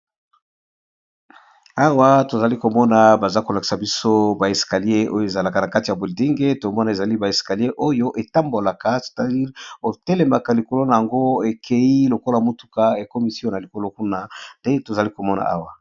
Awa namoni balakisi biso ba escalier oyo ezalaka na bando ya molai soki moto atelemi likolo nango eko matisa ye